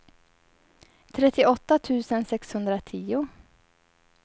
trettioåtta tusen sexhundratio